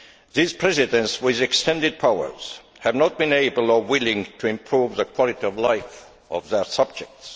These presidents with extended powers have not been able or willing to improve the quality of life of their subjects.